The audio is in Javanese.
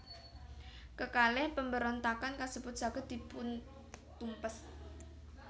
Kekalih pemberontakan kasebut saged dipuntumpes